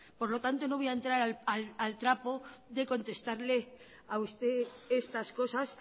por lo tanto no voy a entrar al trapo de contestarle a usted estas cosas